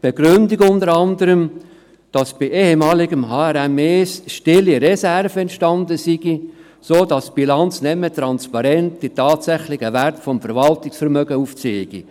Die Begründung lautet unter anderem, dass beim ehemaligem HRM1 stille Reserven entstanden sind, sodass die Bilanz die tatsächlichen Werte des Verwaltungsvermögens nicht mehr transparent aufzeigt.